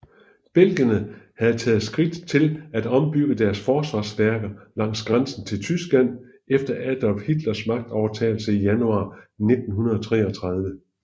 Belgierne havde taget skridt til at ombygge deres forsvarsværker langs grænsen til Tyskland efter Adolf Hitlers magtovertagelse i januar 1933